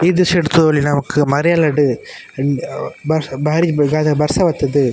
ಈ ದ್ರಶ್ಯಡ್ ತೂವೊಲಿ ನಮಕ್ ಮರಿಯಲಡ್ ಉಹ್ ಬರ್ಸ ಬಾರಿ ಬರ್ಸ ಬತ್ತುದು.